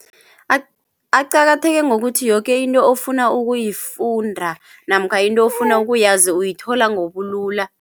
Aqakatheke ngokuthi yoke into ofuna ukuyifunda namkha into ofuna ukuyazi uyithola ngobulula.